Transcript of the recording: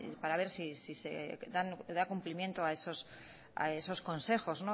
para ver si se da cumplimiento a esos consejos